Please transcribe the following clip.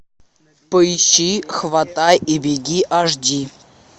поищи хватай и беги аш ди